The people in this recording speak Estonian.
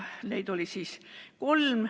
Neid oli kolm.